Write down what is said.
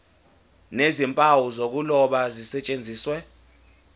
nezimpawu zokuloba zisetshenziswe